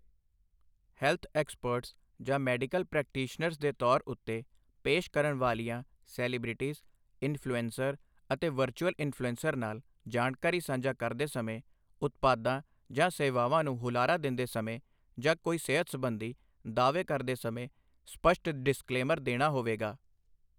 Health experts ਜਾਂ medical practitioners ਦੇ ਤੌਰ ਉੱਤੇ ਪੇਸ਼ ਕਰਨ ਵਾਲੀਆਂ ਸੈਲੀਬ੍ਰਿਟੀਜ਼, ਇਨਫ਼ਲੂਐਂਸਰ ਅਤੇ ਵਰਚੁਅਲ ਇਨਫ਼ਲੂਐਂਸਰ ਨਾਲ ਜਾਣਕਾਰੀ ਸਾਂਝਾ ਕਰਦੇ ਸਮੇਂ, ਉਦਪਾਦਾਂ ਜਾਂ ਸੇਵਾਵਾਂ ਨੂੰ ਹੁਲਾਰਾ ਦਿੰਦੇ ਸਮੇਂ ਜਾਂ ਕੋਈ ਸਿਹਤ ਸਬੰਧੀ ਦਾਅਵੇ ਕਰਦੇ ਸਮੇਂ ਸਪੱਸ਼ਟ ਡਿਸਕਲੇਮਰ ਦੇਣਾ ਹੋਵੇਗਾ।